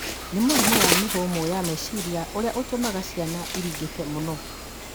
nĩ mũrimũ wa mĩhũmũ ya meciria ũrĩa ũtũmaga ciana iringĩkĩ mũno.